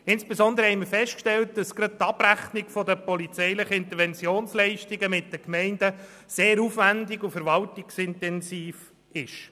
Insbesondere haben wir festgestellt, dass die Abrechnung der polizeilichen Interventionsleistungen mit den Gemeinden sehr aufwendig und verwaltungsintensiv ist.